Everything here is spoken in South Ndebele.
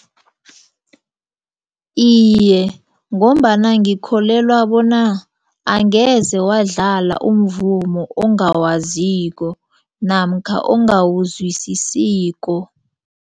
Iye, ngombana ngikholelwa bona angeze wadlala umvumo ongawaziko namkha ongawuzwisisiko.